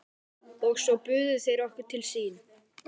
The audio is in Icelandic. Og svo buðu þeir okkur til sín.